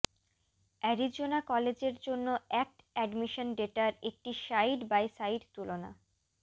Arizona কলেজের জন্য ACT admission ডেটার একটি সাইড বাই সাইড তুলনা